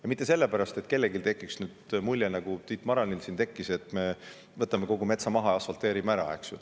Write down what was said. Ja mitte nii, et kellelgi tekiks mulje, nagu Tiit Maranil siin tekkis, et me võtame kogu metsa maha ja asfalteerime ära.